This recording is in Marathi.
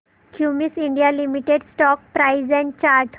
Cummins India limited stock price and chart